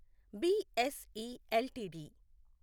BSE LTD